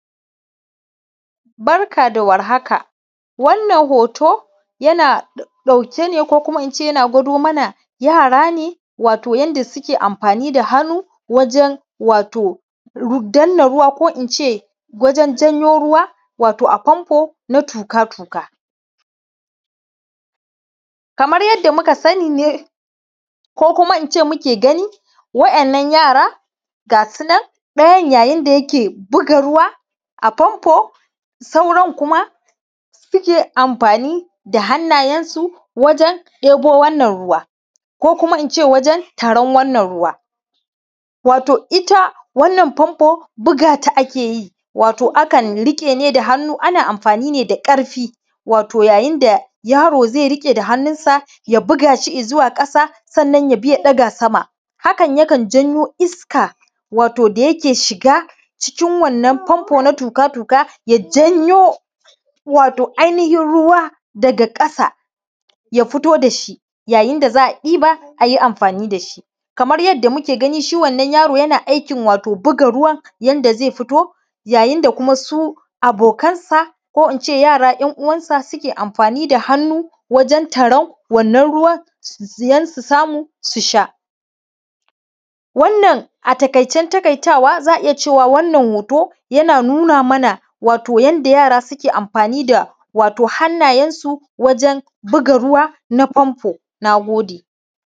Barka da war haka. Wannan hoto, yana ɗauke ne ko kuma in ce yana gwado mana yara ne, wato yanda suke amfani da hannu wajen danna ruwa ko kuma in ce wajen janyo ruwa wato a famfo na tuƙa-tuƙa. Kamar yadda muka sani ne, ko kuma in ce muke gani, waɗannan yaran ga su nan, ɗayan yayin da yake buga ruwa a famfo, sauran kuma suke amfani da hannayensu wajen ɗebo wannan ruwa ko kuma in ce wajen tarar wannan ruwa. Wato ita wannan famfo, buga ta ake yi, wato akan riƙe ne da hannu, ana amfani ne da ƙarfi, wato yayin da yaro zai riƙe da hannunsa, ya buga shi i zuwa ƙasa, sannan ya bi ya ɗaga sama. Hakan yakan janyo iska, wato da yake shiga cikin wannan famfo na tuƙa-tuƙa, ya janyo wato ainihin ruwa daga ƙasa ya fito da shi, yayin da za a ɗiba, a yi amfani da shi. Kamar yadda muke gani, shi wannan yaro yana aikin wato buga ruwa, yanda zai fito, yayin da kuma su abokansa ko in ce yara ‘yan uwansa suke amfani da hannu wajen taran wannan siyan su samu su sha. Wannan a taƙaicen taƙaitawa za a iya cewa wannan hoto, yana nuna mana wato yanda yara suke amfani da wato hannayensu wajen buga ruwa na famfo. Na gode.